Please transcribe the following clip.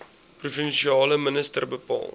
provinsiale minister bepaal